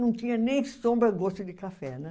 Não tinha nem sombra gosto de café, né?